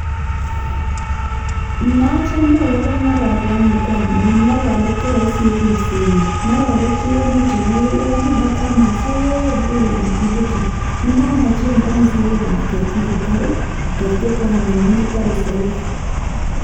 Noo chome agobo ng'ororyani, ko amun ng'ororyet ko roisi en ripsenyin. Ng'ororyet iwone kityo agoi legemet ii ko bo koamat sogek agoi lang'at igetu. Ne momochen ko ame sogek ab ketik kotar ii kot ko koran imin kotore sogek.